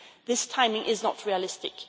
This timing is not realistic.